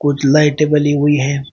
कुछ लाइटें बली हुई हैं।